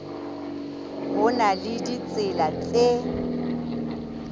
ho na le ditsela tse